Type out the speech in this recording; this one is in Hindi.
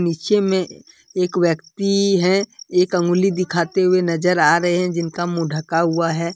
पीछे में एक व्यक्ति है एक अंगुली दिखाते हुए नजर आ रहे हैं जिनका मुंह ढका हुआ है।